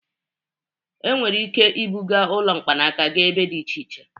Enwere ike ibuga ụlọ mkpanaka gaa ebe dị iche iche.